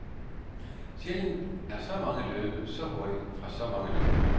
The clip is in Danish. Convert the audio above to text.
Sjældent er så mange løbet så hurtigt fra så mange løfter.